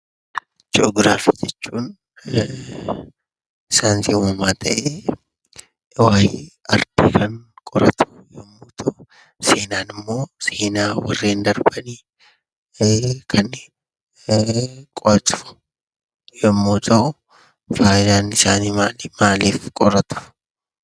Ji'oograafii jechuun saayinsii uumamaa ta'ee, waa'ee ardii kan qoratu yommuu ta'u; Seenaan immoo seenaa warreen darbani kan qo'atu yommuu ta'u, faayidaan isaanii maali? maaliif qoratu?